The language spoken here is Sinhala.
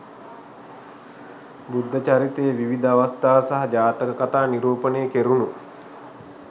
බුද්ධ චරිතයේ විවිධ අවස්ථා සහ ජාතක කතා නිරූපණය කෙරුණු